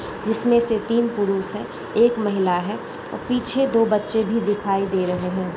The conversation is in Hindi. जिसमें से तीन पुरुष है एक महिला है और पीछे दो बच्चे भी दिखाई दे रहे है।